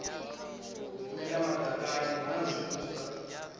mela madakani hu na zwipuka